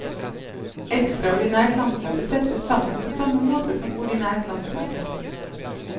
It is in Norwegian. Ekstraordinært landsmøte settes sammen på samme måte som ordinært landsmøte.